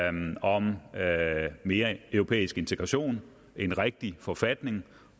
om om mere europæisk integration en rigtig forfatning